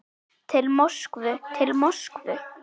Til Moskvu, til Moskvu!